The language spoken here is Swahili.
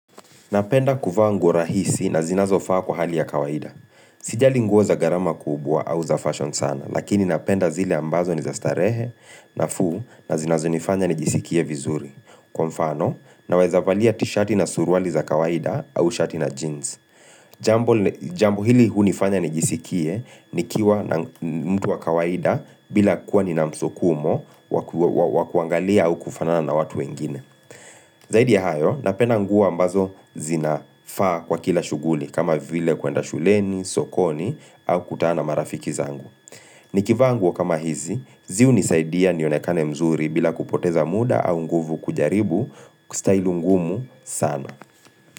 Napenda kuvaa nguo rahisi na zinazofaa kwa hali ya kawaida. Sijali nguo za gharama kubwa au za fashion sana, lakini napenda zile ambazo ni za starehe nafuu na zinazonifanya nijisikie vizuri. Kwa mfano, naweza valia tishirti na suruali za kawaida au shati na jeans. Jambo hili hunifanya nijisikie nikiwa na mtu wa kawaida bila kuwa nina msukumo wa kuangalia au kufanana na watu wengine. Zaidi ya hayo, napenda nguo ambazo zinafaa kwa kila shughuli kama vile kuenda shuleni, sokoni, au kutana marafiki zangu. Nikivaa nguo kama hizi, zi hunisaidia nionekane mzuri bila kupoteza muda au nguvu kujaribu kustahili ngumu sana.